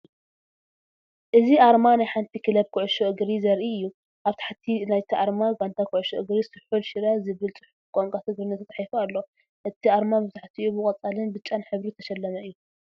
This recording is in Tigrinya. እዚ ኣርማ ናይ ሓንቲ ክለብ ኩዕሶ እግሪ ዘርኢ እዩ። ኣብ ታሕቲ ናይቲ ኣርማ "ጋንታ ኩዕሶ እግሪ ስሑል ሽረ" ዝብል ጽሑፍ ብቋንቋ ትግርኛ ተፃሒፉ ኣሎ። እቲ ኣርማ መብዛሕትኡ ብቀፃልን ብጫን ሕብሪ ዝተሸለመ እዩ።